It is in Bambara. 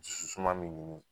Dusu suma ni munɲun